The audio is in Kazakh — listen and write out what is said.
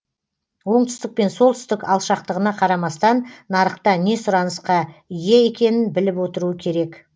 оңтүстік пен солтүстік алшақтығына қарамастан нарықта не сұранысқа ие екенін біліп отыруы керек